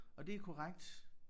Og det er korrekt